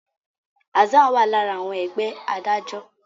Hassan wá lára àwọn Ẹgbẹ́ adájọ́.